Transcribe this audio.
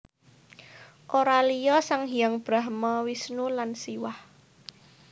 Ora liya sang hyang Brahma Wisnu lan Siwah